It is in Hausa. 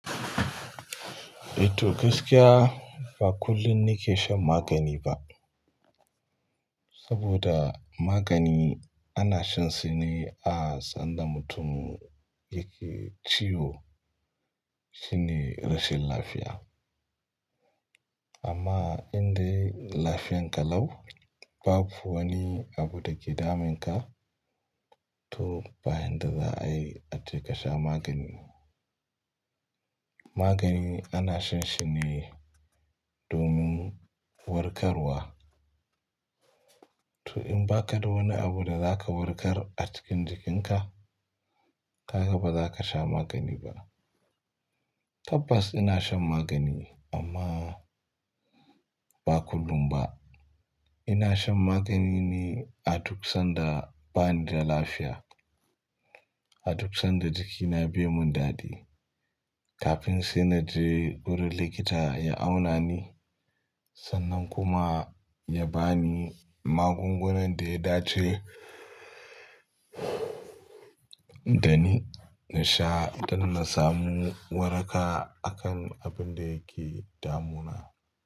Eh to gaskiya ba kullum nake shan magani ba. Saboda magani ana shan shi ne a sanda mutum yake ciwo, shine rashin lafiya. Amma in dai lafiyan ka lau, babu wani abu da ke damun ka, to ba yanda za a yi ace ka sha magani. Magani ana shan shi ne domin warkarwa. To in ba ka da wani abu da zaka warkar a cikin jikinka, kaga ba za ka sha magani ba. Tabbas ina shan magani amma ba kullum ba. Ina shan magani ne a duk sanda bani da lafiya, a duk sanda jikina bai mun dadi. Kafin sai na je wurin likita ya auna ni, sannan kuma ya ba ni magungunan da ya dace dani. Na sha don na samu waraka akan abin da yake damuna.